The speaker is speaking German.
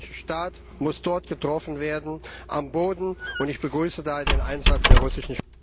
Der Islamische Staat muss dort getroffen werden, am Boden. Ich begrüße da den Einsatz der russischen